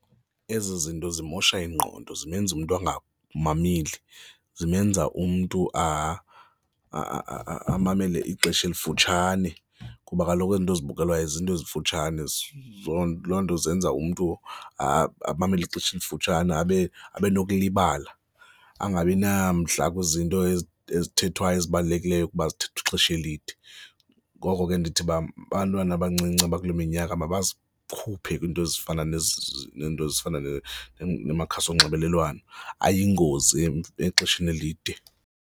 Ezi zinto zimosha ingqondo, zimenze umntu angamameli, zimenza umntu amamele ixesha elifutshane kuba kaloku ezinto ezibukelwayo zinto ezimfutshane loo nto zenza umntu amamele ixesha elifutshane abe nokulibala, angabinamdla kwizinto ezithethwayo, ezibalulekileyo kuba zithethwe ixesha elide. Ngoko ke ndithi uba abantwana abancinci abakule minyaka mazikhuphe kwiinto ezifana neento ezifana namakhasi onxibelelwano, ayingozi exesheni elide.